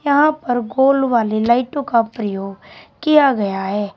यहां पर गोल वाली लाइटों का प्रयोग किया गया है।